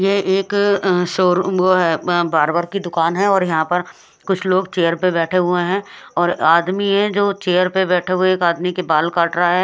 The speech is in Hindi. ये एक अ- शोरूम वो है बार्बर की दूकान है और यह पर कुछ लोग चेयर बेठे हुए है और एक आदमी है जो चेयर पर बेठे हुए एक आदमी के बाल काट रहा है।